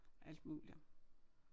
Alt muligt